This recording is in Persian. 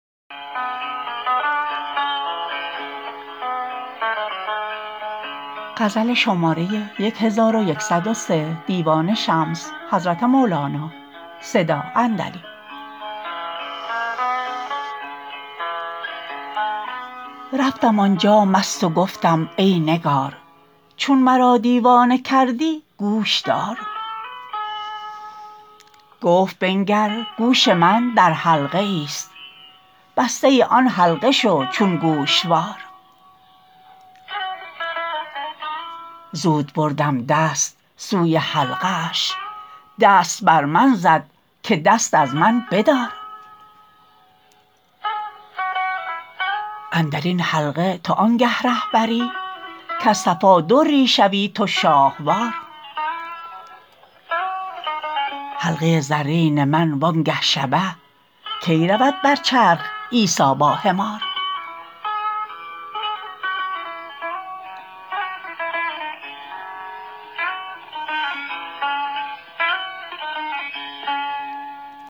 رفتم آن جا مست و گفتم ای نگار چون مرا دیوانه کردی گوش دار گفت بنگر گوش من در حلقه ایست بسته ی آن حلقه شو چون گوشوار زود بردم دست سوی حلقه اش دست بر من زد که دست از من بدار اندر این حلقه تو آنگه ره بری کز صفا دری شوی تو شاهوار حلقه ی زرین من وانگه شبه کی رود بر چرخ عیسی با حمار